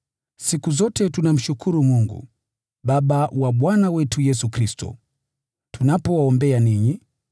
Siku zote tunamshukuru Mungu, Baba wa Bwana wetu Yesu Kristo, tunapowaombea ninyi,